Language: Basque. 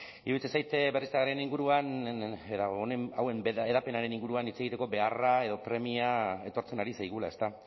iruditzen zait berriztagarrien inguruan eta hauen hedapenaren inguruan hitz egiteko beharra edo premia etortzen ari zaigula ezta